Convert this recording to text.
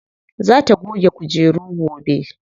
Za ta goge kujeru gobe.